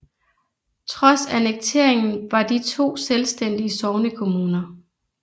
Trods annekteringen var de to selvstændige sognekommuner